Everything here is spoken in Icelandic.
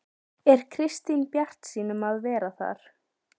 Er Kristín bjartsýn um að vera þar?